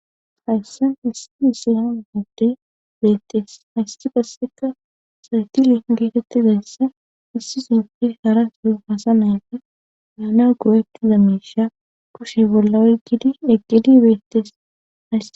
hayssa issi isiyaa moddey beettees haysi qasseka saytili geetettizayssa issi sife hara su hasa mayfe meana goweptiza meisha kushe bolla oy gidi eqqidi beettess